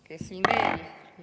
Kes veel?